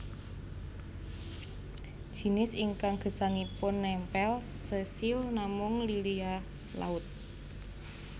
Jinis ingkang gesangipun nèmpèl sesil namung lilia laut